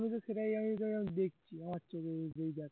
আমি তো সেটাই দেখছি